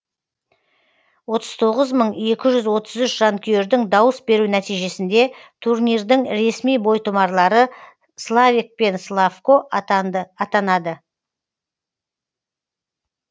отыз тоғыз мың екі жүз отыз үш жанкүйердің дауыс беру нәтижесінде турнирдің ресми бойтұмарлары славек мен славко атанады